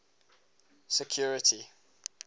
security